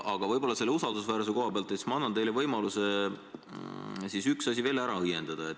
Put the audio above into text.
Aga usaldusväärsuse koha pealt ma annan teile võimaluse üks asi veel ära õiendada.